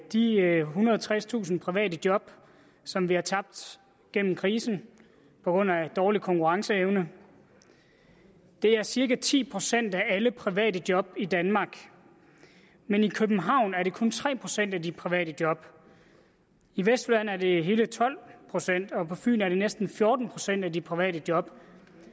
de ethundrede og tredstusind private job som vi har tabt gennem krisen på grund af dårlig konkurrenceevne det er cirka ti procent af alle private job i danmark men i københavn er det kun cirka tre procent af de private job i vestjylland er det hele tolv procent og på fyn er det næsten fjorten procent af de private job